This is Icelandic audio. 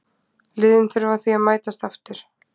Liðin þurfa því að mætast aftur.